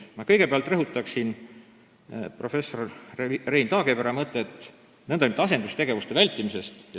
Ma kõigepealt rõhutan emeriitprofessor Rein Taagepera mõtet nn asendustegevuste vältimise kohta.